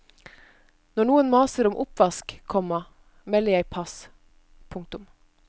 Når noen maser om oppvask, komma melder jeg pass. punktum